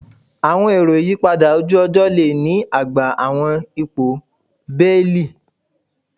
Awọn ero iyipada oju-ọjọ le ni agba awọn ipo beeli